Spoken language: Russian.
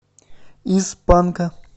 из панка